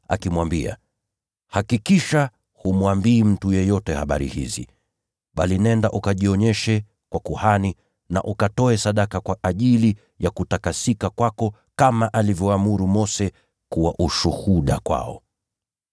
akimwambia, “Hakikisha humwambii mtu yeyote habari hizi, bali nenda ukajionyeshe kwa kuhani, na ukatoe sadaka alizoagiza Mose kwa utakaso wako, ili kuwa ushuhuda kwao.”